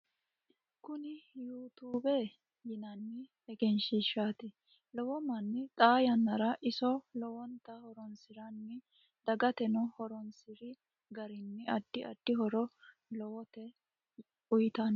Kuni you tube yinanni egensiishshati lowo manni xaa yannara iso lowonta horonsiranno dagateno horonsiri garinni addi addi horo lowota uyitanno